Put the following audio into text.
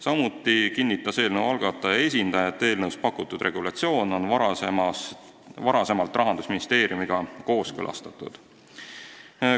Samuti kinnitas eelnõu algataja esindaja, et eelnõus pakutud regulatsioon on varem Rahandusministeeriumiga kooskõlastatud.